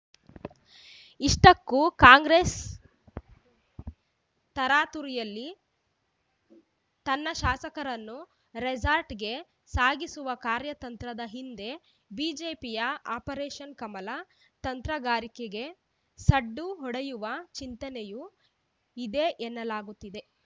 ಇಷ್ಟಕ್ಕೂ ಕಾಂಗ್ರೆಸ್‌ ತರಾತುರಿಯಲ್ಲಿ ತನ್ನ ಶಾಸಕರನ್ನು ರೆಸಾರ್ಟ್‌ಗೆ ಸಾಗಿಸುವ ಕಾರ್ಯತಂತ್ರದ ಹಿಂದೆ ಬಿಜೆಪಿಯ ಆಪರೇಷನ್‌ ಕಮಲ ತಂತ್ರಗಾರಿಕೆಗೆ ಸಡ್ಡು ಹೊಡೆಯುವ ಚಿಂತನೆಯೂ ಇದೆ ಎನ್ನಲಾಗುತ್ತಿದೆ